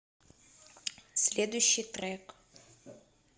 следующий трек